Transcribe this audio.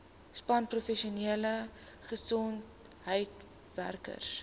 span professionele gesondheidswerkers